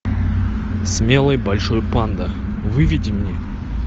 смелый большой панда выведи мне